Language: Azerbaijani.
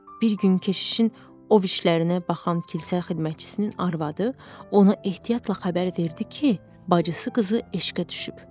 Bir gün keşişin o vahişlərinə baxan kilsə xidmətçisinin arvadı ona ehtiyatla xəbər verdi ki, bacısı qızı eşqə düşüb.